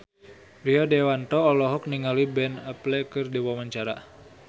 Rio Dewanto olohok ningali Ben Affleck keur diwawancara